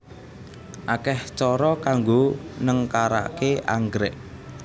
Akeh cara kanggo nengkaraké anggrék